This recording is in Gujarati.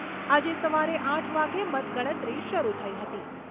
આજે સવારે આઠ વાગે મતગણતરી શરૂ થઈ હતી.